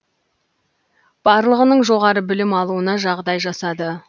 барлығының жоғары білім алуына жағдай жасады